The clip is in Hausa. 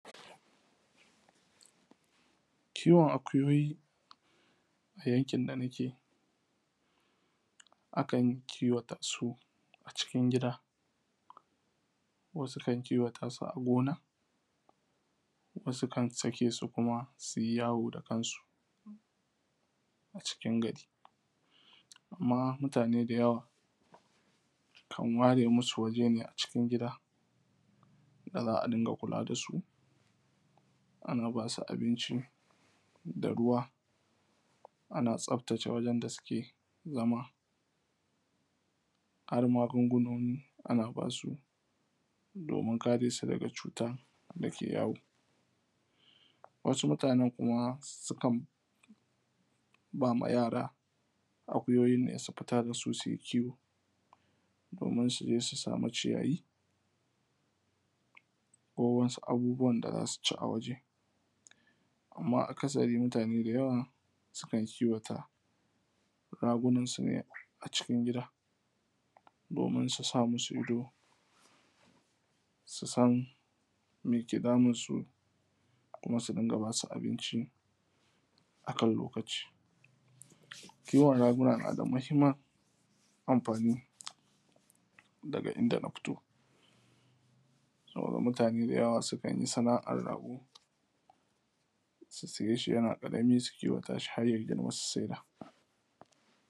kiwon akuyoyi a yankin da nake akan kiwata s a cikin gida wasu kan kiwata su a gona wasu kan sake su kuma sui yawo da kansu a cikin gari kuma mutane da yawa kan ware musu guri ne da za’a dunga kula dasu ana basu abinci da ruwa ana tsaftace wajen da suke zama har magunguna ana basu domin karesu daga cutan dake yawo wasu mutanen kuma sukan bama yara akuyoyi ne domin su fita dasu suje suyi kiwo don su sama ciyawa ko wasu abubuwan da zasu ci waje amma akasari mutane da yawa sukan kiwata ragunan sune cikin agida domin su sa musu ido sunan meke damunsu da kuma su rinka basu abinci akan lokaci da yawan raguna nada mahimman amfani a inda na fito saboda mutane da yawa sukanyi sa’na’an rago su sayeshi yana karami su kiwata harya girma su sai da.